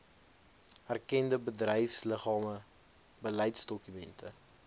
erkende bedryfsliggame beleidsdokumente